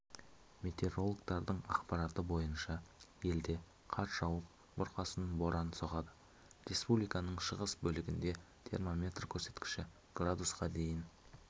метеорологтардың ақпараты бойынша елде қар жауып бұрқасын бұран соғады республиканың шығыс бөлігінде термометр көрсеткіші градусқа дейін